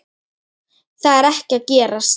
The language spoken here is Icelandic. Það er ekki að gerast.